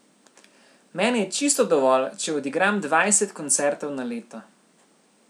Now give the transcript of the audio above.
Meni je čisto dovolj, če odigram dvajset koncertov na leto.